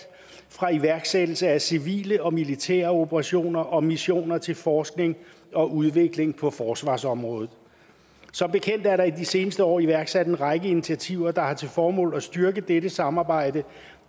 fra iværksættelse af civile og militære operationer og missioner til forskning og udvikling på forsvarsområdet som bekendt er der i de seneste år iværksat en række initiativer der har til formål at styrke dette samarbejde